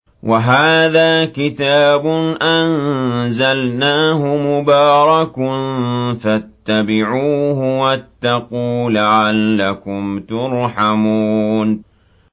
وَهَٰذَا كِتَابٌ أَنزَلْنَاهُ مُبَارَكٌ فَاتَّبِعُوهُ وَاتَّقُوا لَعَلَّكُمْ تُرْحَمُونَ